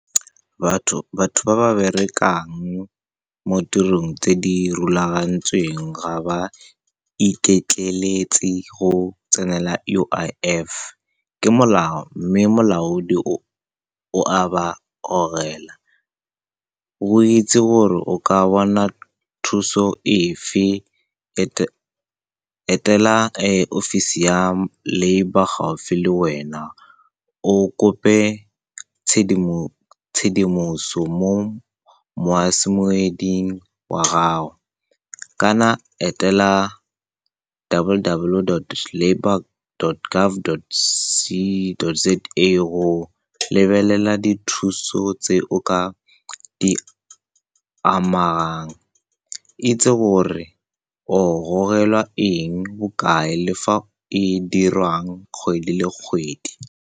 Batho ba ba berekang mo tirong tse di rulagantsweng ga ba iketleletse go tsenela U_I_F ke molao, mme molaodi o o . Go itse gore o ka bona thuso efe, etela ofisi ya labour gaufi le wena, o kope tshedimoso mo wa gago, kana etela W_W dot labour dot gov dot c dot Z_A go lebelela dithuso tse o ka di amang, itse gore o gogelwa eng, bokae, le fa e dirwang kgwedi le kgwedi.